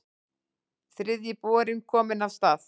Þriðji borinn kominn af stað